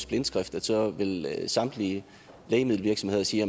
blindskrift så vil samtlige lægemiddelvirksomheder sige at